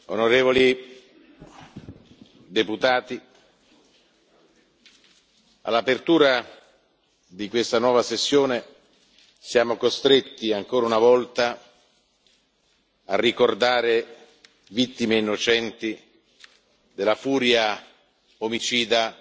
Onorevoli deputati, all'apertura di questa nuova sessione, siamo costretti ancora una volta a ricordare vittime innocenti della furia omicida